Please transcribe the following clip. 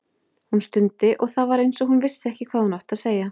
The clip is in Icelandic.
Hún stundi og það var eins og hún vissi ekki hvað hún ætti að segja.